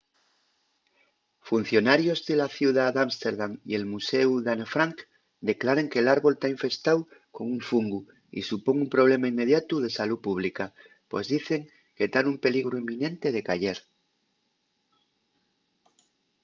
funcionarios de la ciudá d’ámsterdam y el muséu d’anne frank declaren que l’árbol ta infestáu con un fungu y supón un problema inmediatu de salú pública pos dicen que ta nun peligru inminente de cayer